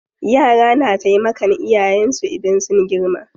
Yara na taimakan iyayen su idan sun girma.